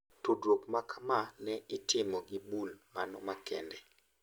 Tudruok makama ne itimo gi bul mano makende.